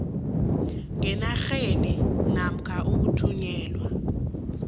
ngenarheni namkha ukuthunyelwa